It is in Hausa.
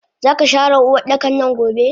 Zaka share Uwardakannan gobe!